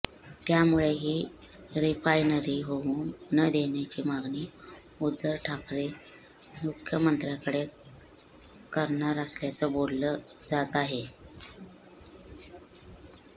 त्यामुळे ही रिफायनरी होऊ न देण्याची मागणी उद्धव ठाकरे मुख्यमंत्र्यांकडे करणार असल्याचं बोललं जात आहे